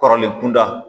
Kɔrɔlen kunda